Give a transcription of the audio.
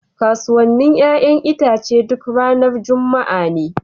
Kasuwannin 'ƴa'ƴan itace duk ranar Juma'a ne.